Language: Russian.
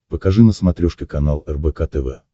покажи на смотрешке канал рбк тв